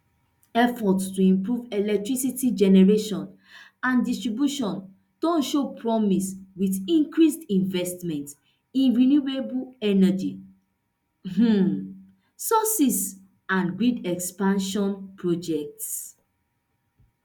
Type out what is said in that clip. efforts to improve electricity generation and distribution don show promise wit increased investments in renewable energy um sources and grid expansion projects